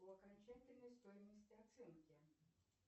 по окончательной стоимости оценки